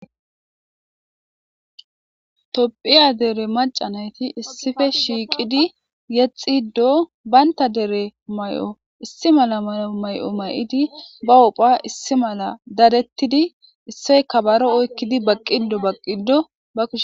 Topphiya dere maacca nayti issippe shiiqidi yexido baynta dere may'o issi mala may'o may'idi bahupha . issi mala dadettidi isse kabaro oykkidi baqqido baqqido bakishe